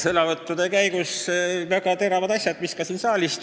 Sõnavõttude käigus tulid esile väga teravad asjad, nagu ka siin saalis.